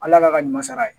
Ala k'a ka ɲuman sara ye